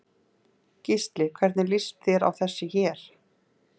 Gísli: Hvernig líst þér á þessi hér?